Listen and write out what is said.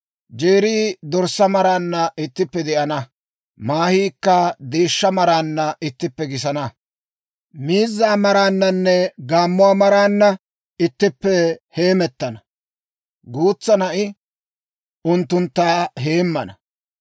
Jeerii dorssaa maraanna ittippe de'ana; maahiikka deeshshaa maraanna ittippe gisana; miizzaa maraanna, gaammuwaa maraananne ittippe heemettana; guutsaa na'i unttuntta heemmana.